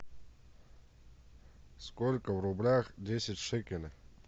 сколько в рублях десять шекелей